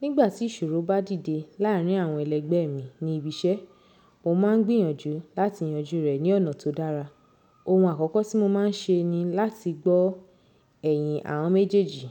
Nígbà tí ìṣòro bá dìde láàrín àwọn ẹlẹ́gbẹ́ mi ní ibi iṣẹ́, mo máà ń gbìyànjú láti yanjú rẹ̀ ní ọ̀nà tó dára. Ohun àkọ́kọ́ tí mo máa ń ṣe ni láti gbọ́ ẹ̀yìn àwọn méjèèjì.